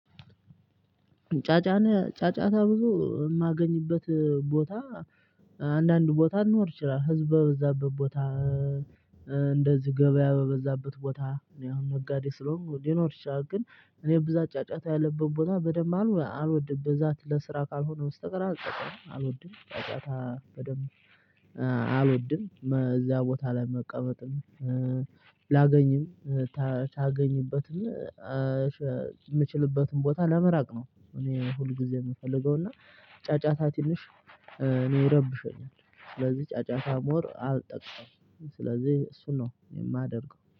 ጫጫነ ጫጫታ ብዙ የማገኝበት ቦታ አንዳንድ ቦታ እንኖር ይችላል ህዝብ በበዛበት ቦታ። እንደዚህ ገበያ በበዛበት ቦታ ያው ነጋዴ ስለሆንኩ ሊኖር ይችላል ግን እኔ ብዛት ጫጫታ ያለብኝ ቦታ በደንብ አም አልወድም። ብዛት ለስራ ካልሆነ በስተቀር አልጠቀ አልወድም ጫጫታ። አልወድም በዛ ቦታ ላይ መቀመጥም ላገኝም ታገኝበትም ኧሸ የምችልበትን ቦታ ለመራቅ ነው። እኔ ሁል ጊዜ የምፈልገው እና ጫጫታ ትንሽ እኔ ይረብሸኛል። ስለዚህ ጫጫታ ሞር አልጠቀምም ስለዚህ እሱን ነው የማደርገው